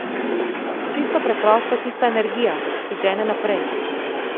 Čisto preprosto tista energija, ki žene naprej.